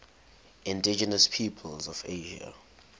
indigenous peoples of asia